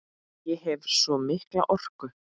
Ég hef svo mikla orku.